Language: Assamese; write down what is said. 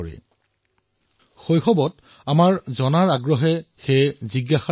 সৰু কালছোৱাত আমাৰ ভিতৰত থকা জিজ্ঞাসৰ ফলতেই আমি শিকিব পাৰো